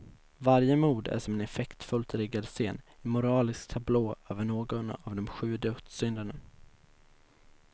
Varje mord är som en effektfullt riggad scen, en moralisk tablå över någon av de sju dödssynderna.